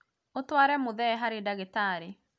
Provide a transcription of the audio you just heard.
ũtware mũthee harĩ ndagĩtarĩ